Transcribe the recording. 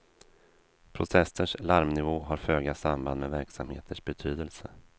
Protesters larmnivå har föga samband med verksamheters betydelse.